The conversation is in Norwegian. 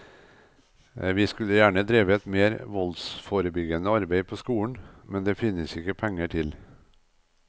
Vi skulle gjerne drevet mer voldsforebyggende arbeid på skolen, men det finnes det ikke penger til.